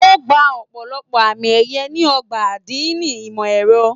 O gbà ọpọlọpọ àmì ẹyẹ ní ọgbà adini ìmọ ẹrọ.